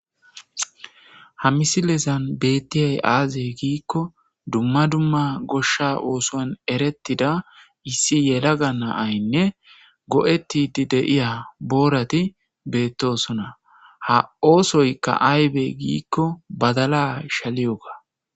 Ha misilezan bettiyay aazey giikko dumma dumma goshsha oosoan erettida issi yelaga naaynne go7ettidi deiya boorati beettosona ha oosoykka aybe giikko badala shaliyoga.